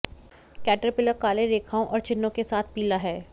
caterpillar काले रेखाओं और चिह्नों के साथ पीला है